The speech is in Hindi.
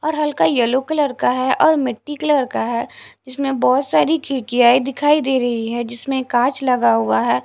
और हल्का यलो कलर का है और मिट्टी कलर का है जिसमें बहुत सारी खिड़कियाँ दिखाई दे रही हैं जिसमें एक कांच लगा हुआ है।